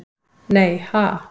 Nei ha?